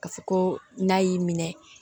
Ka fɔ ko n'a y'i minɛ